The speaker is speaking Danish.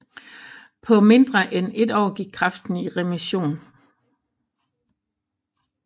På mindre end et år gik kræften i remission